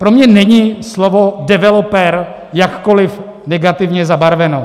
Pro mě není slovo developer jakkoli negativně zabarveno.